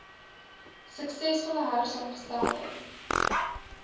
suksesvolle hersaamge stelde